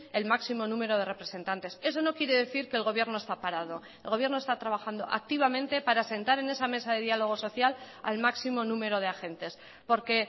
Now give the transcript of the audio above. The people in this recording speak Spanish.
el máximo número de representantes eso no quiere decir que el gobierno está parado el gobierno está trabajando activamente para sentar en esa mesa de diálogo social al máximo número de agentes porque